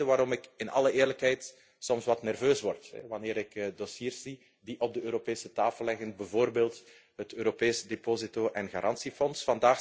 Dat is ook de reden waarom ik in alle eerlijkheid soms wat nerveus word wanneer ik dossiers zie die op de Europese tafel liggen, bijvoorbeeld het Europese deposito en garantiefonds.